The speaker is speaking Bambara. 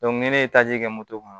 ni ne ye taji kɛ moto kɔnɔ